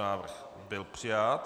Návrh byl přijat.